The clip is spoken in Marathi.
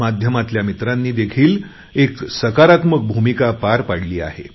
माध्यमातील मित्रांनी देखील एक सकारात्मक भूमिका पार पाडली आहे